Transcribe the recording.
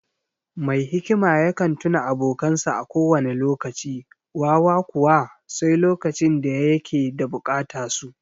Mai hikima yakan tuna abokansa a kowane lokaci; wawa kuwa, sai lokacin da ya yake da bukata su.